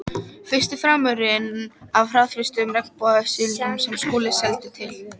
Fyrsti farmurinn af hraðfrystum regnbogasilungi sem Skúli seldi til